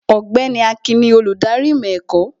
Ọ̀gbẹ́ni Akin ni olùdarí ìmọ̀ ẹ̀kọ́